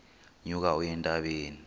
nyuka uye entabeni